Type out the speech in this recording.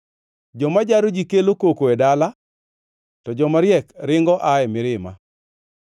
Joma jaro ji kelo koko e dala, to jomariek ringo aa e mirima.